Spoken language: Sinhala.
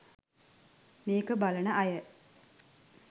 මේක බලන අය